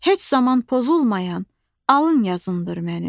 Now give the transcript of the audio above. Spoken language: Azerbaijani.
Heç zaman pozulmayan alın yazındır mənim.